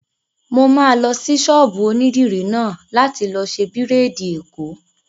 Mo máa lọ sí ọ̀dọ̀ ṣọ́ọ̀bù onídìrí náà láti lọ ṣe bírèèdì èkó